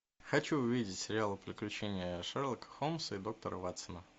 хочу увидеть сериал приключения шерлока холмса и доктора ватсона